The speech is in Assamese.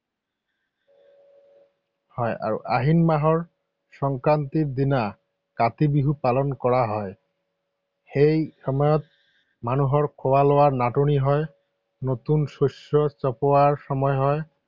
হয় আৰু আহিন মাহৰ সংক্ৰান্তিৰ দিনা কাতি বিহু পালন কৰা হয়। সেই সময়ত মানুহৰ খোৱা লোৱাৰ নাটনি হয়, নতুন শস্য চপোৱাৰ সময় হয়।